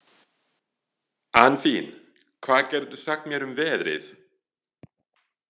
Anfinn, hvað geturðu sagt mér um veðrið?